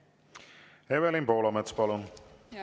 Evelin Poolamets, palun!